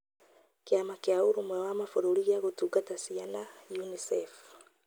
Kĩama kĩa ũrũmwe wa mabururi gĩa gũtungata ciana (UNICEF )